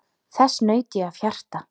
Þess naut ég af hjarta.